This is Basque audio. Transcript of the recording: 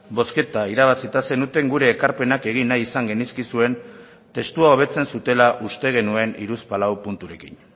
bozketa irabazita zenuten gure ekarpenak egin nahi izan genizkizuen testua hobetzen zutela uste genuen hiruzpalau punturekin